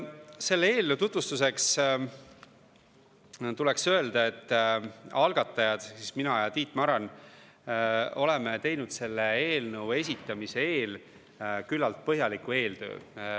Selle eelnõu tutvustuseks tuleks öelda, et algatajad ehk siis mina ja Tiit Maran oleme teinud selle eelnõu esitamise eel küllalt põhjaliku eeltöö.